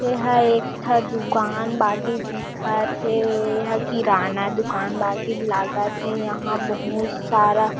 एहा एक ठ दूकान बागी दिखत हे एहा किराना दूकान बाकी लागत हे यहाँ बहुत सारा--